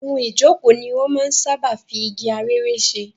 Ohun ìjókòó ni wọn máa ń sáábà fi igi arère ṣe.